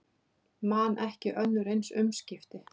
Man ekki önnur eins umskipti